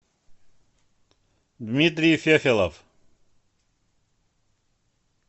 дмитрий фефелов